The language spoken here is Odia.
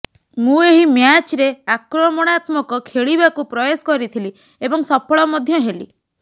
ମୁଁ ଏହି ମ୍ୟାଚରେ ଆକ୍ରମଣାତ୍ମକ ଖେଳିବାକୁ ପ୍ରୟାସ କରିଥିଲି ଏବଂ ସଫଳ ମଧ୍ୟ ହେଲି